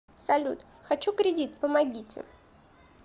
салют хочу кредит помогите